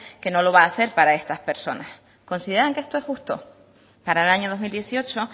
que no lo va a ser para estar personas consideran que esto es justo para el año dos mil dieciocho